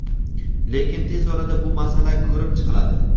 lekin tez orada bu masala ko‘rib chiqiladi.